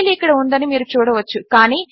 file ఇక్కడ ఉందని మీరు చూడవచ్చు